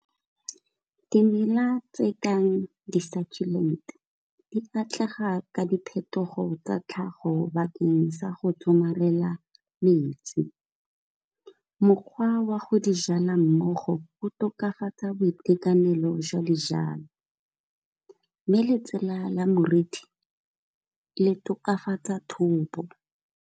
Dimela tse ka di-succulent di batlega ka diphetogo tsa tlhago bakeng sa go somarela metsi. Mokgwa wa go di jala mmogo go tokafatsa boitekanelo jwa dijalo, Mme letsela la morithi le tokafatsa thobo.